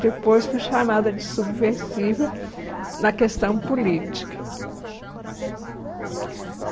Depois fui chamada de subversiva na questão política.